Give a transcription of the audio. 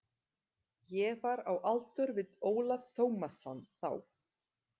Ég var á aldur við Ólaf Tómasson þá.